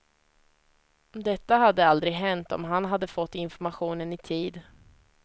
Detta hade aldrig hänt om han hade fått informationen i tid.